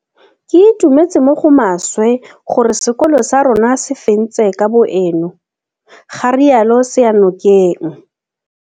Ke itumetse mo go maswe gore sekolo sa rona se fentse kabo eno, ga rialo Seyanokeng